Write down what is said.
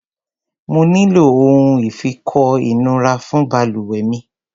Mo nílò ohun ìfikọ́ ìnura fún balùwẹ̀ mi.